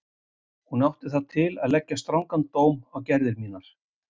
Hún átti það til að leggja strangan dóm á gerðir mínar.